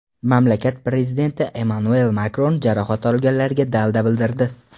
Mamlakat prezidenti Emmanuel Makron jarohat olganlarga dalda bildirdi.